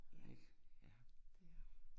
Ja, det er hun